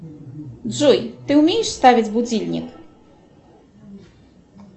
джой ты умеешь ставить будильник